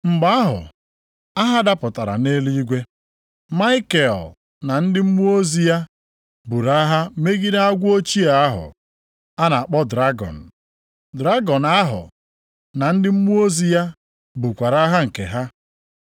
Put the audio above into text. Mgbe ahụ, agha dapụtara nʼeluigwe. Maikel na ndị mmụọ ozi ya buru agha megide agwọ ochie ahụ (a na-akpọ dragọn). Dragọn ahụ na ndị mmụọ ozi ya bukwara agha nke ha,